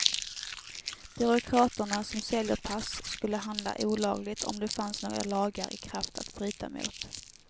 Byråkraterna som säljer pass skulle handla olagligt om det fanns några lagar i kraft att bryta mot.